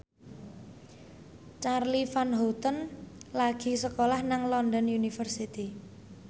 Charly Van Houten lagi sekolah nang London University